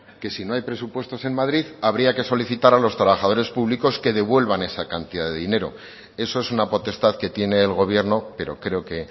que si no hay presupuestos en madrid habría que solicitar a los trabajadores públicos que devuelvan esa cantidad de dinero eso es una potestad que tiene el gobierno pero creo que